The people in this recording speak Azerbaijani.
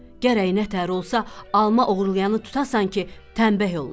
Gərək nətər olsa alma oğurlayanı tutasan ki, təmbəh oluna.